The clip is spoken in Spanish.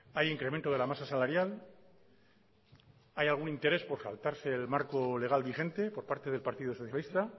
hay incremento de la masa salarial hay algún interés por saltarse el marco legal vigente por parte del partido socialista